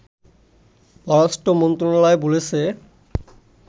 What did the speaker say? পররাষ্ট্র মন্ত্রণালয় বলেছে